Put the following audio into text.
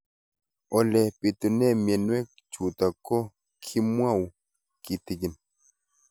Ole pitune mionwek chutok ko kimwau kitig'�n